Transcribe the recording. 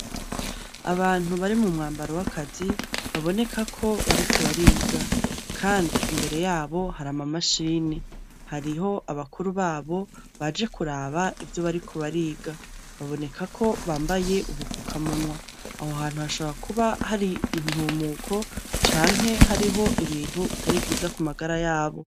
Abantu bari mu mwambaro wakazi baboneka ko bariko bariga kandi imbere yabo hari ama mashini hariho abakuru babo baje kuraba ivyo bariko bariga baboneka ko bambaye ubupfukamunwa. Aho hantu hashobora kuba hari intumuko canke hariho ibintu bitari vyiza kumagara yabo.